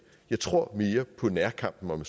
jeg tror mere på nærkampen om